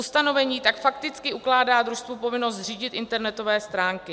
Ustanovení tak fakticky ukládá družstvu povinnost zřídit internetové stránky.